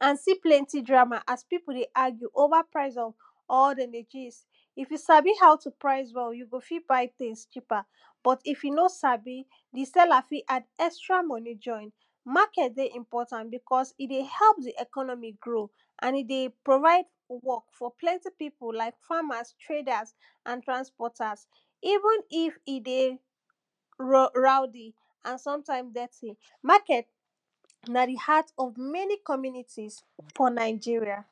and see plenty drama as pipu dey argue over price of or dey dey crase if you sabi how to price well you go fi buy tins cheaper, but if you no sabi, di seller fi add extra money join. market dey important bicos e dey help di economy grow. and e dey provide work for plenty pipu like farmers, traders and transporters even if e dey roudy and sometimed dirty, market na di heart of many communities for nigeria.